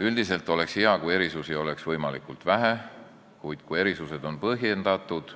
Üldiselt oleks hea, kui erisusi oleks võimalikult vähe, kuid kui erisused on põhjendatud,